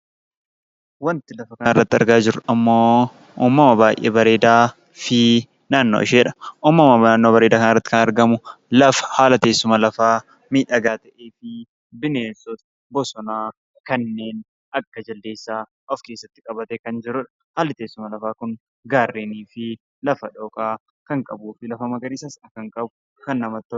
Wanti lafa kanarratti argaa jirru immoo uumama baay'ee bareedaa fi naannoo isheedha. Naannoo bareedaa kanarratti kan argamu lafa, haala teesuma lafaa miidhagaa ta'eefi bineensota bosonaa kanneen akka Jaldeessaa of keessatti qabatee kan jirudha. Haalli teessuma lafaa kun gaarreenii fi lafa dhooqaa kan qabuu fi lafa magariisas kan qabu kan baay'ee namatti tolu.